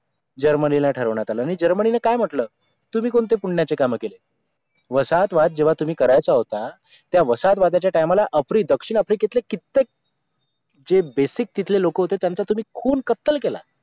जर्मनीला ठरवण्यात आलं आणि जर्मनीने काय म्हटलं तुम्ही कोणते पुण्याचें कामं केले वसाहत वाद जेवहा तुम्ही करायचा होता त्या वसाहत वादाच्या time ला आफ्रि दक्षिण आफ्रिकेतली कित्येक जे basic तिथले लोकं होते त्यांच्या तुम्ही खून कत्तल केला